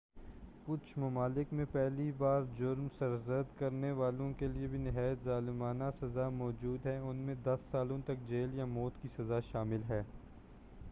کچھ ممالک میں پہلی بار جرم سرزد کرنے والوں کیلئے بھی نہایت ظالمانہ سزا موجود ہے ان میں 10 سالوں تک جیل یا موت کی سزا شامل ہے